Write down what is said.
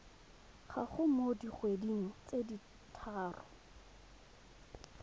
gago mo dikgweding tse tharo